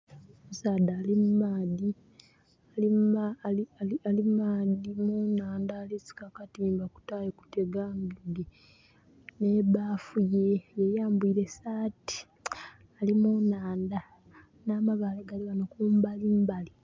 Omusaadha ali mu maadhi Ali munaandha alisika katimba kutayo kutega ..... maadhi nhe bafu. Ye yambwire saati ali mu nhandha nha mabaale gali ghano kumbali mbali